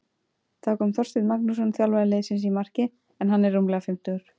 Þá kom Þorsteinn Magnússon þjálfari liðsins í markið en hann er rúmlega fimmtugur.